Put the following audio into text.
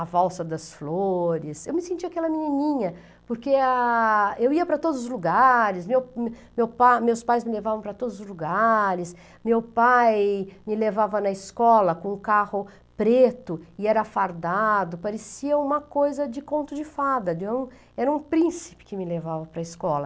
A valsa das flores, eu me sentia aquela menininha, porque a, eu ia para todos os lugares, meu meu pa meus pais me levavam para todos os lugares, meu pai me levava na escola com um carro preto e era fardado, parecia uma coisa de conto de fada, de um, era um príncipe que me levava para a escola.